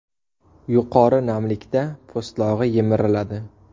Yuqori namlikda po‘stlog‘i yemiriladi.